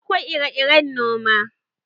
Akwai ire-iren noma.